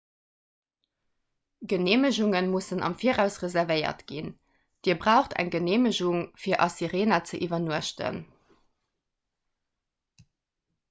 geneemegunge mussen am viraus reservéiert ginn dir braucht eng geneemegung fir a sirena ze iwwernuechten